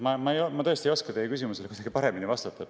Ma tõesti ei oska teie küsimusele paremini vastata.